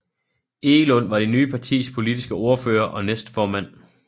Egelund var det nye partis politiske ordfører og næstformand